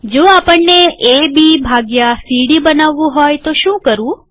જો આપણને A B ભાગ્યા સી ડી બનાવવું હોય તો શું કરવું